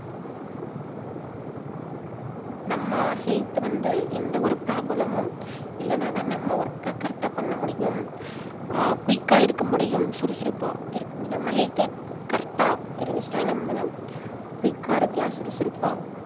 நம்ம health வந்து எந்த ஒரு problem உம் இல்லன்னா தான் நம்ம work அ correct ஆ பண்ண முடியும் அஹ் quick ஆ இருக்க முடியும் சுறுசுறுப்பா இருக்க முடியும் நம்ம health அ correct ஆ இருந்துச்சுன்னா நம்ம தான் quick ஆ இருக்கலாம் சுறுசுறுப்பா